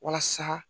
Walasa